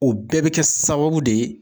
O bɛɛ bi kɛ sababu de ye